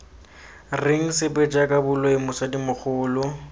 reng sepe jaaka boloi mosadimogolo